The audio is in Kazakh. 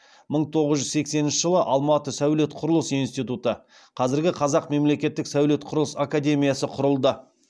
мың тоғыз жүз сексенінші жылы алматы сәулет құрылыс институты құрылды